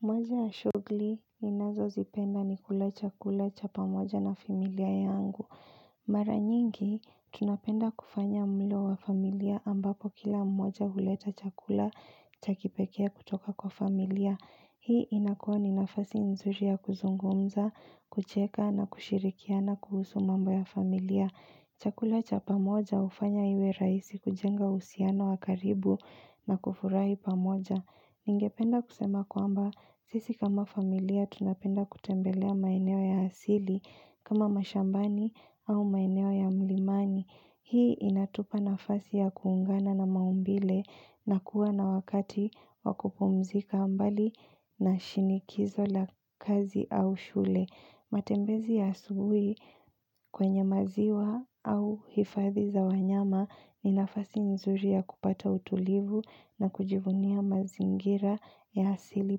Moja ya shughuli ninazozipenda ni kula chakula cha pamoja na familia yangu. Mara nyingi tunapenda kufanya mlo wa familia ambapo kila mmoja huleta chakula cha kipekee kutoka kwa familia. Hii inakuwa ni nafasi nzuri ya kuzungumza, kucheka na kushirikiana kuhusu mambo ya familia. Chakula cha pamoja hufanya iwe rahisi kujenga uhusiano wa karibu na kufurahi pamoja. Ningependa kusema kwamba sisi kama familia tunapenda kutembelea maeneo ya asili kama mashambani au maeneo ya mlimani. Hii inatupa nafasi ya kuungana na maumbile na kuwa na wakati wa kupumzika mbali na shinikizo la kazi au shule. Matembezi ya asubuhi kwenye maziwa au hifadhi za wanyama ni nafasi nzuri ya kupata utulivu na kujivunia mazingira ya asili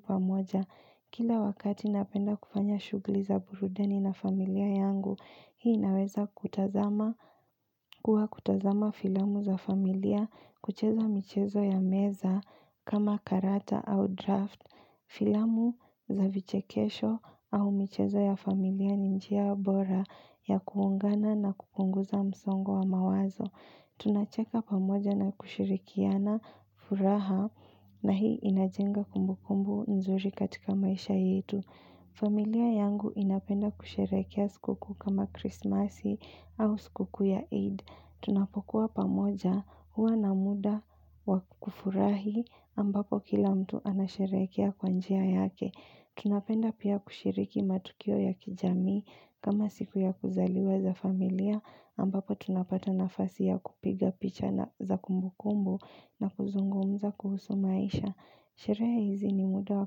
pamoja. Kila wakati napenda kufanya shughuli za burudani na familia yangu, hii inaweza kutazama kuwa kutazama filamu za familia, kucheza michezo ya meza kama karata au draft, filamu za vichekesho au michezo ya familia ni njia bora ya kuungana na kupunguza msongo wa mawazo. Tunacheka pamoja na kushirikiana furaha na hii inajenga kumbukumbu nzuri katika maisha yetu. Familia yangu inapenda kusherehekea sikukuu kama Kristmasi au sikukuu ya Eid. Tunapokuwa pamoja huwa na muda wa kufurahi ambapo kila mtu anasherehekea kwa njia yake. Tunapenda pia kushiriki matukio ya kijamii kama siku ya kuzaliwa za familia ambapo tunapata nafasi ya kupiga picha za kumbukumbu na kuzungumza kuhusu maisha. Sherehe hizi ni muda wa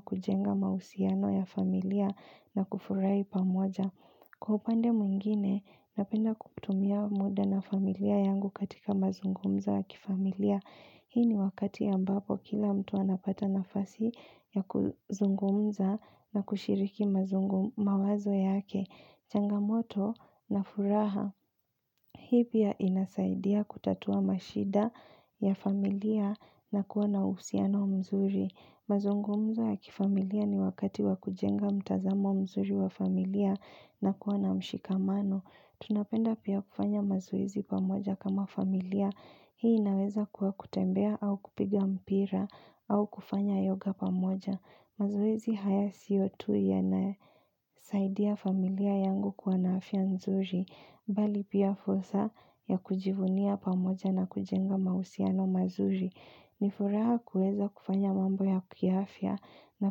kujenga mahusiano ya familia na kufurahi pamoja. Kwa upande mwingine, napenda kutumia muda na familia yangu katika mazungumzo ya kifamilia. Hii ni wakati ambapo kila mtu anapata nafasi ya kuzungumza na kushiriki mawazo yake. Changamoto na furaha. Hii pia inasaidia kutatua mashida ya familia na kuwa na uhusiano mzuri. Mazungumzo ya kifamilia ni wakati wa kujenga mtazamo mzuri wa familia na kuwa na mshikamano. Tunapenda pia kufanya mazoezi pamoja kama familia. Hii inaweza kuwa kutembea au kupiga mpira au kufanya yoga pamoja. Mazoezi haya sio tu yanasaidia familia yangu kuwa na afya nzuri, bali pia fursa ya kujivunia pamoja na kujenga mahusiano mazuri. Ni furaha kuweza kufanya mambo ya kiafya na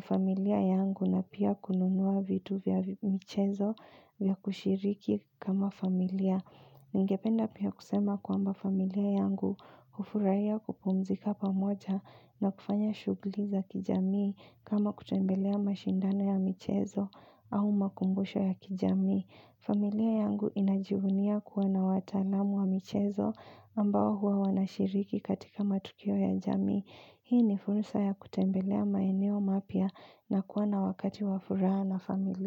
familia yangu na pia kununua vitu vya michezo vya kushiriki kama familia. Ningependa pia kusema kwamba familia yangu hufurahia kupumzika pamoja na kufanya shughuli za kijamii kama kutembelea mashindano ya michezo au makumbusho ya kijamii. Familia yangu inajivunia kuwa na wataalamu wa michezo ambao huwa wanashiriki katika matukio ya jamii. Hii ni fursa ya kutembelea maeneo mapya na kuwa na wakati wa furaha na familia.